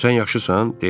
Sən yaxşısan?